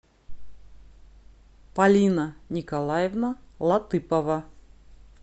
полина николаевна латыпова